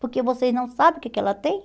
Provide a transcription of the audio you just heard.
Porque vocês não sabem o que que ela tem?